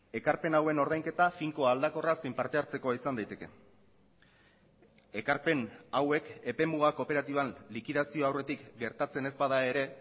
ekarpen hauen ordainketa finkoa aldakorra zein partehartzekoa izan daiteke ekarpen hauek epemuga kooperatiban likidazioa aurretik gertatzen ez bada ere